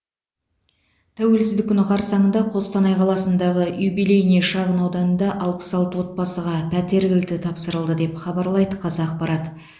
тәуелсіздік күні қарсаңында қостанай қаласындағы юбилейный шағын ауданында алпыс алты отбасыға пәтер кілті тапсырылды деп хабарлайды қазақпарат